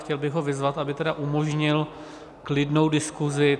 Chtěl bych ho vyzvat, aby tedy umožnil klidnou diskuzi.